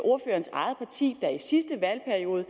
ordførerens eget parti der i sidste valgperiode